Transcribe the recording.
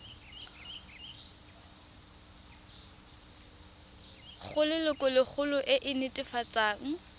go lelokolegolo e e netefatsang